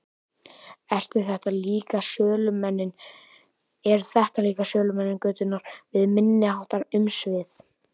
Eru þetta líka sölumenn götunnar með minniháttar umsvif?